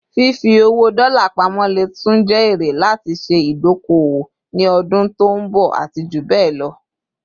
Fifi owó dola pamo lè tún jé ère láti ṣe idoko - owó ni ọdún tọ nbo àti jubẹlọ